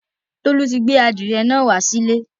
Tolu ti gbé àdìrẹ́ náà wá sílé.